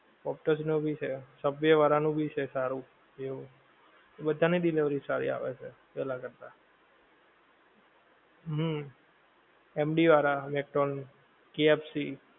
ઑક્ટસ્ નું ભી છે. સબવે વાળાં નું ભી છે સારું. બેવ એ બધાની ડિલિવરી સારી આવે છે પહેલા કરતાં. હુંમ MD વાળાં મેકડોનાલ્ડ, KFC